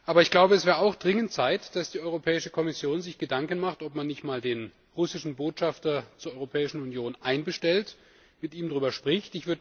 Es wäre aber auch dringend Zeit, dass die Europäische Kommission sich Gedanken macht, ob man nicht einmal den russischen Botschafter zur Europäischen Union einbestellt und mit ihm darüber spricht.